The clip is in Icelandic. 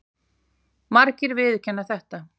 Margir viðurkenna þetta.